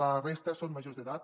la resta són majors d’edat